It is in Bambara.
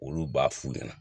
Olu b'a f'u ɲɛna